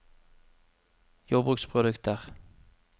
jordbruksprodukter